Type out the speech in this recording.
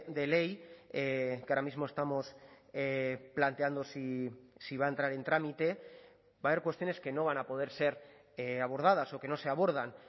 de ley que ahora mismo estamos planteando si va a entrar en trámite va a haber cuestiones que no van a poder ser abordadas o que no se abordan